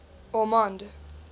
ormonde